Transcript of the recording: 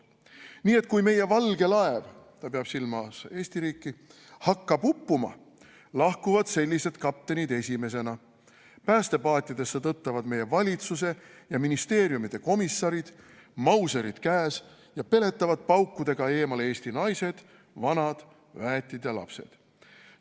" Nii et kui meie valge laev peaks hakkama uppuma, lahkuvad sellised kaptenid esimestena: päästepaatidesse tõttavad meie valitsuse ja ministeeriumide komissarid, mauserid käes, ja peletavad paukudega eemale eesti naised, vanad, väetid ja lapsed.